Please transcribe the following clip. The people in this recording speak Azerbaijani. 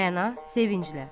Rəna sevinclə.